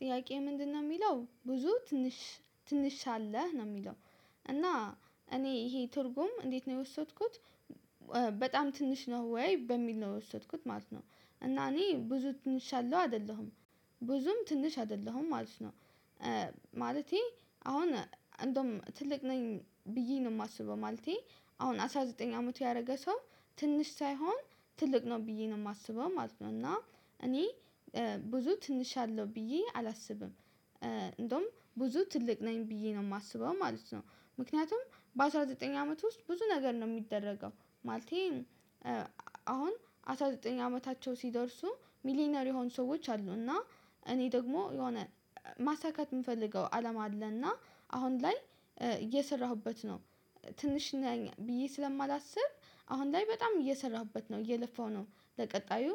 ጥያቄ ምንድነው እሚለው ብዙ ትንሽ ትንሽ ሳለህ ነው እሚለው እና እኔ ይሄ ትርጉም እንዴት ነው የወሰድኩት በጣም ትንሽ ነህ ወይ በሚል ነው የወሰድኩት ማለት ነው። እና እኔ ብዙ ትንሽ ያለው አይደለሁም ብዙም ትንሽ አይደለሁም ማለት ነው። ማለቴ አሁን እንድያውም ትልቅ ነኝ ብዬ ነው እማስበው ማለቴ አሁን አስራ ዘጠኝ አመቱ ያደረገ ሰው ትንሽ ሳይሆን ትልቅ ነው ብዬ ነው እማስበው ማለት ነው። እና እኔ ብዙ ትንሽ አለው ብዬ አላስብም እንድያውም ብዙ ትልቅ ነኝ ብዬ ነው እማስበው ማለት ነው። ምክንያቱም በአሥራ ዘጠኝ አመት ውስጥ ብዙ ነገር ነው እሚደረገው ማለቴ አሁን አስራ ዘጠኝ አመታቸው ሲደርሱ ሚሊነር የሆኑ ሰዎች አሉ እና እኔ ደግሞ የሆነ ማሳካት እምፈልገው አለም አለና አሁን ላይ እየሰራሁበት ነው። ትንሽ ነኝ ብዬ ስለማላስብ አሁን ላይ በጣም እየሰራሁበት ነው እየለፋሁ ነው ለቀጣዩ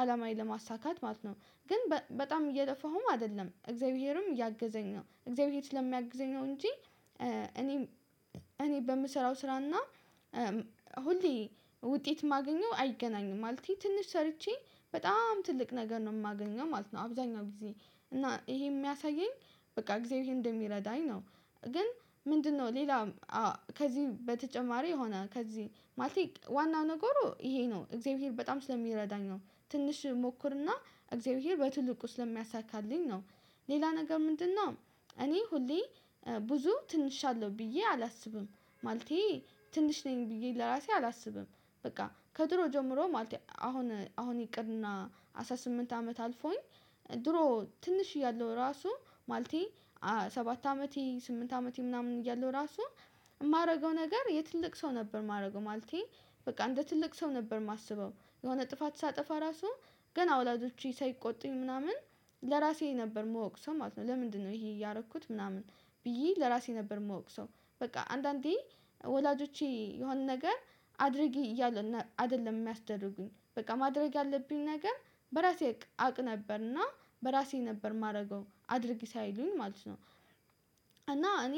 አላማዬን ለማሳካት ማለት ነው። ግን በጣም እየጠፋሁም አይደለም እግዚአብሔርም እያገዘኝ ነው እግዚአብሔር ስለሚያግዘኝ ነው እንጂ እኔ በምሰራው ስራና ሁሌ ውጤት እማገኘው አይገናኝም ማለት ትንሽ ሰርቼ በጣም ትልቅ ነገር ነው እማገኘው ማለት ነው አብዛኛው ጊዜ እና ይሄ እሚያሳየኝ በቃ እግዚአብሔር እንደሚረዳኝ ነው። ግን ምንድነው ሌላ ከዚህ በተጨማሪ የሆነ ከዚህ ማለቴ ዋናው ነገሩ ይሄ ነው እግዚአብሔር በጣም ስለሚረዳኝ ነው ትንሽ እሞክርና እግዚአብሔር በትልቁ ስለሚያሳካልኝ ነው ሌላ ነገር ምንድነው? እኔ ሁሌ ብዙ ትንሽ አለው ብዬ አላስብም ማለቴ ትንሽ ነኝ ብዬ ለራሴ አላስብም። በቃ ከድሩ ጀምሮ ማለቴ አሁን አሁን ይቅርና አስራ ስምንት አመት አልፎኝ ድሮ ትንሽ እያለው ራሱ ማልቴ ሰባት አመቴ ስምንት አመቴ ምናምን እያለሁ ራሱ እማደርገው ነገር የትልቅ ሰው ነበር እማደርገው ማለቴ በቃ እንደ ትልቅ ሰው ነበር እማስበው የሆነ ጥፋት ሳጠፋ ራሱ ገና ወላጆቼ ሳይቆጥኝ ምናምን ለራሴ ነበር እምወቅሰው ማለት ነው። ለምንድነው ይሄ እያደረኩት ምናምን ብዬ ለራሴ ነበር እምወቅሰው በቃ አንዳንዴ ወላጆቼ የሆነ ነገር አድርጌ እያሉ አይደለም እሚያስደርጉኝ በቃ ማድረግ ያለብኝ ነገር በራሴ አቅ ነበርና በራሴ ነበር እማደርገው አድርጊ ሳይሉኝ ማለት ነው። እና እኔ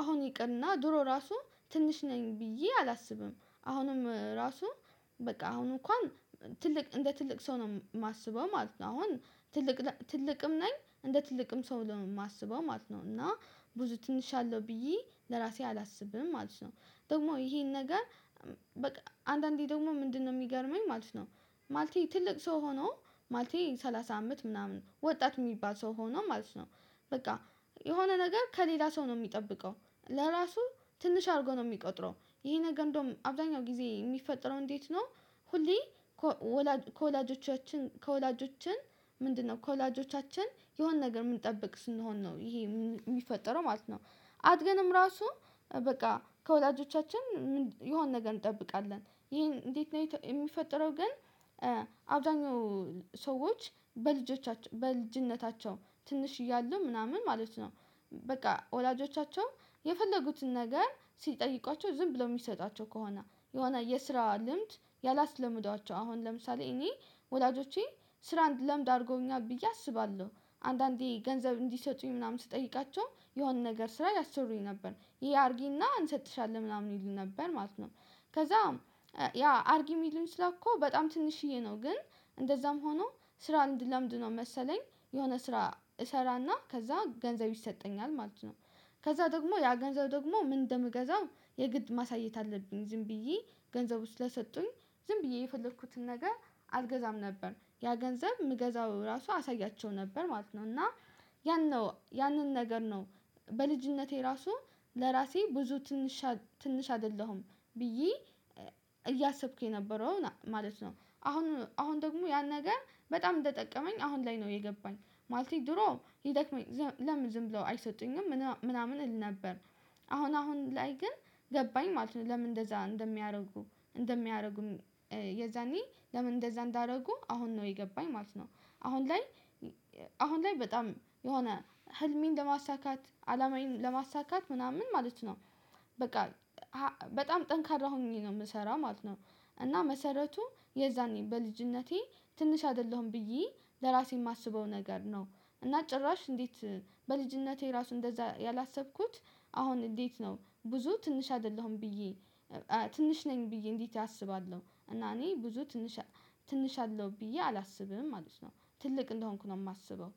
አሁን ይቅርና ድሮ ራሱ ትንሽ ነኝ ብዬ አላስብም አሁንም ራሱ በቃ አሁን እንኳን ትልቅ እንደ ትልቅ ሰው ነው እማስበው ማለት ነው። አሁን ትልቅ ትልቅም ነኝ እንደ ትልቅም ሰው ነው እማስበው ማለት ነው እና ብዙ ትንሽ አለው ብዬ ለራሴ አላስብም ማለት ነው። ደግሞ ይሄን ነገር በቃ አንዳንዴ ደግሞ ምንድነው እሚገርመኝ ማለት ነው። ማለቴ ትልቅ ሰው ሆኖ ማለቴ ሰላሳ አመት ምናምን ወጣት እሚባል ሰው ሆኖ ማለት ነው በቃ የሆነ ነገር ከሌላ ሰው ነው እሚጠብቀው ለራሱ ትንሽ አድርጎ ነው እሚቆጥረው ይሄ ነገር እንድያውም አብዛኛው ጊዜ ኦሚፈጠረው እንዴት ነው? ሁሌ ከወላጆቻችን ከወላጆቻችን ምንድነው ከወላጆቻችን የሆነ ነገር እምንጠብቅ ስንሆን ነው ይሄ እሚፈጠረው ማለት ነው። አድገንም ራሱ በቃ ከወላጆቻችን የሆነ ነገር እንጠብቃለን ይሄን እንዴት ነው እሚፈጠረው ግን? አብዛኛው ሰዎች በልጅነታቸው ትንሽ እያሉ ምናምን ማለት ነው በቃ ወላጆቻቸው የፈለጉትን ነገር ሲጠይቋቸው ዝም ብለው እሚሰጧቸው ከሆነ የሆነ የስራ ልምድ ያላስለመዷቸው አሁን ለምሳሌ እኔ ወላጆቼ ስራ አንድለምድ አድርገውኛል ብዬ አስባለሁ አንዳንዴ ገንዘብ እንዲሰጡኝ ምናምን ስጠይቃቸው የሆነ ነገር ስራ ያስቸሩኝ ነበር ይሄ አድርጊና እንሰጥሻለን ምናምን ይሉኝ ነበር ማለት ነው። ከዛም ያ አርጌ እሚልም ስራ እኮ በጣም ትንሽዬ ነው ግን እንደዛም ሆኖ ስራ እንድለምድ ነው መሰለኝ የሆነ ስራ እሰራና ከዛ ገንዘብ ይሰጠኛል ማለት ነው። ከዛ ደግሞ ያ ገንዘብ ደግሞ ምን እንደምገዛው የግድ ማሳየት አለብኝ ዝም ብዬ ገንዘቡ ስለሰጡኝ ዝም ብዬ የፈለኩትን ነገር አልገዛም ነበር ያ ገንዘብ እምገዛው ራሱ አሳያቸው ነበር ማለት ነው። እና ያን ነው ያንን ነገር ነው በልጅነቴ ራሱ ለራሴ ብዙ ትንሽ ትንሽ አይደለሁም ብዬ እያሰብኩ የነበረው ማለት ነው። አሁን አሁን ደግሞ ያን ነገር በጣም እንደጠቀመኝ አሁን ላይ ነው የገባኝ ማለቴ ነው ድሮ ይደክመኝ ለምን ዝም ብለው አይሰጡኝም ምናምን እል ነበር። አሁን አሁን ላይ ግን ገባኝ ማለት ነው ለምን እንደዛ እንደሚያደርጉ እንደሚያደርጉም የዛኔ ለምን እንደዛ እንዳደርጉ አሁን ነው የገባኝ ማለት ነው። አሁን ላይ አሁን ላይ በጣም የሆነ ህልሜን ለማሳካት አላማዬን ለማሳካት ምናምን ማለት ነው በቃ በጣም ጠንካራ ሆኜ ነው እምሰራው ማለት ነው። እና መሰረቱ የዛኔ በልጅነቴ ትንሽ አይደለሁም ብዬ ለራሴ እማስበው ነገር ነው እና ጭራሽ እንዴት በልጅነቴ ራሱ እንደዛ ያላሰብኩት አሁን እንዴት ነው ብዙ ትንሽ አይደለሁም ብዬ ትንሽ ነኝ ብዬ እንዴት አስባለሁ እና እኔ ብዙ ትንሽ ትንሽ አለው ብዬ አላስብም ማለት ነው። ትልቅ እንደሆንኩ ነው እማስበው።